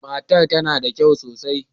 Matar tana da kyau sosai.